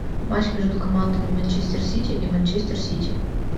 матч между командами манчестер сити и манчестер сити